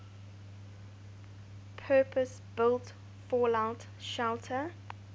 purpose built fallout shelter